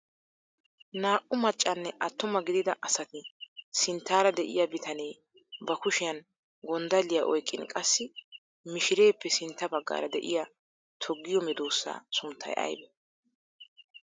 Naa"u maccanne attuma gidida asati sinttaara de'iyaa bitanee ba kushiyaan gonddalliyaa oyqqin qassi mishireeppe sintta baggaara de'iyaa toggiyoo medoosaa sunttay aybee?